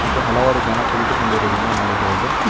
ಮತ್ತು ಹಲವಾರು ಜನ ಕುಳಿತುಕೊಂಡಿರುವುದನ್ನು ನೋಡಬಹುದು.